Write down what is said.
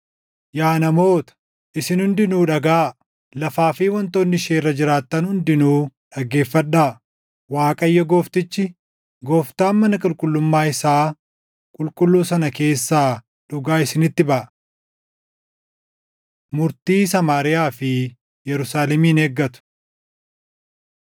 Yaa namoota, isin hundinuu dhagaʼaa; lafaa fi wantoonni ishee irra jiraattan hundinuu dhaggeeffadhaa; Waaqayyo Gooftichi, Gooftaan mana qulqullummaa isaa qulqulluu sana keessaa // dhugaa isinitti baʼa. Murtii Samaariyaa fi Yerusaalemin Eeggatu